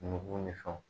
Nugu ni fɛnw